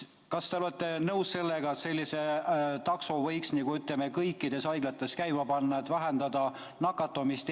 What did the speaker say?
Kas te olete nõus sellega, et sellise takso võiks kõikides haiglates käima panna, et vähendada nakatumist?